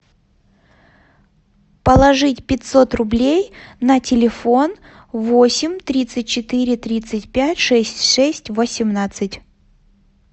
положить пятьсот рублей на телефон восемь тридцать четыре тридцать пять шесть шесть восемнадцать